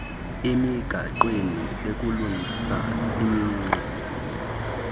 emigaqweni ukulungisa imingxunya